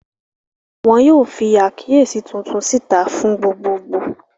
Wọn yóò fi àkíyèsí tuntun síta fún gbogbogbò.